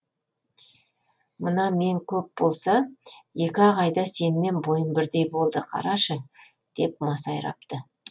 мына мен көп болса екі ақ айда сенімен бойым бірдей болды қарашы деп масайрапты